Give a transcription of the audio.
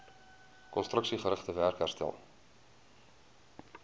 konstruksiegerigte werk herstel